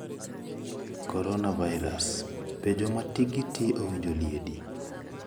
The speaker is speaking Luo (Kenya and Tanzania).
Coronavirus: Be joma tikgi ti owinjo liedi?